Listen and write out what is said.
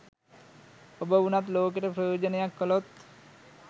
ඔබ වුනත් ලෝකෙට ප්‍රයෝජනයක් කලොත්